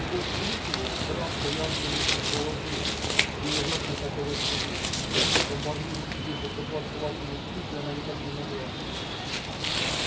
сквозь клюкву травка явственно чувствовала хлеб и ей ужасно хотелось есть но позволить себе покопаться лапами в клюкве она никак не могла